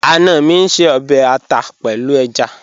Ana mi ń ṣè ọbẹ̀ àtà pẹ̀lú èjá.